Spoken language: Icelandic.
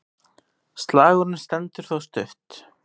Slagurinn stendur þó stutt.